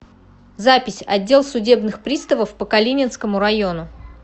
запись отдел судебных приставов по калининскому району